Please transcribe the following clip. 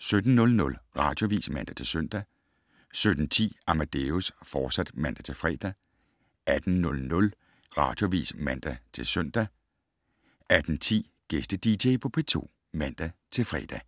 17:00: Radioavis (man-søn) 17:10: Amadeus, fortsat (man-fre) 18:00: Radioavis (man-søn) 18:10: Gæste-dj på P2 (man-fre)